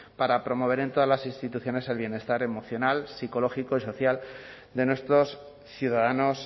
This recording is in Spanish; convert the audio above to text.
para promover en todas las instituciones el bienestar emocional psicológico y social de nuestros ciudadanos